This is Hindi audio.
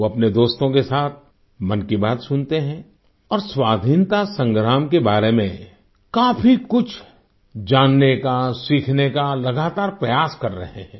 वो अपने दोस्तों के साथ मन की बात सुनते हैं और स्वाधीनता संग्राम के बारे में काफी कुछ जानने का सीखने का लगातार प्रयास कर रहे हैं